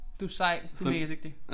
Du sej du megadygtig